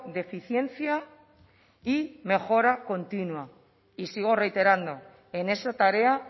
deficiencia y mejora continua y sigo reiterando en esa tarea